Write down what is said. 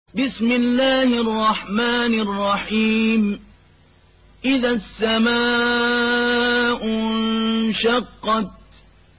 إِذَا السَّمَاءُ انشَقَّتْ